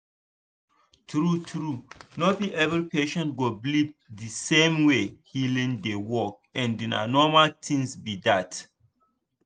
true true no be every patient go believe the same way healing dey work and na normal thing be that.